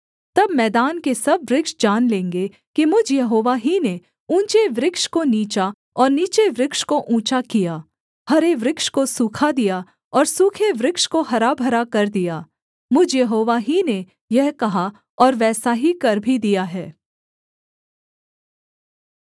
तब मैदान के सब वृक्ष जान लेंगे कि मुझ यहोवा ही ने ऊँचे वृक्ष को नीचा और नीचे वृक्ष को ऊँचा किया हरे वृक्ष को सूखा दिया और सूखे वृक्ष को हरा भरा कर दिया मुझ यहोवा ही ने यह कहा और वैसा ही कर भी दिया है